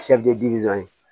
dɔ ye